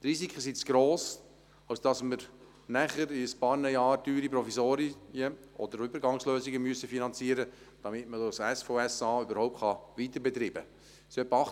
Die Risiken sind zu gross, als dass es sinnvoll wäre, in ein paar Jahren teure Provisorien oder Übergangslösungen zu finanzieren, damit das SVSA überhaupt weiterbetrieben werden kann.